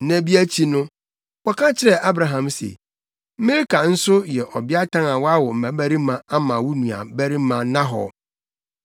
Nna bi akyi no, wɔka kyerɛɛ Abraham se, “Milka nso yɛ ɔbeatan a wawo mmabarima ama wo nuabarima Nahor: